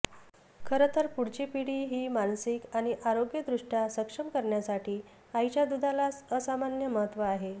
खरं तर पुढची पिढी ही मानसिक आणि आरोग्यदृष्ट्या सक्षम करण्यासाठी आईच्या दूधाला असामान्य महत्व आहे